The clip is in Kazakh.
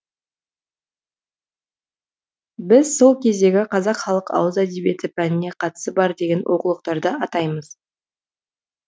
біз сол кездегі қазақ халық ауыз әдебиеті пәніне қатысы бар деген оқулықтарды атаймыз